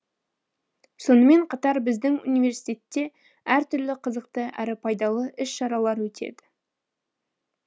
сонымен қатар біздің университетте әртүрлі қызықты әрі пайдалы іс шаралар өтеді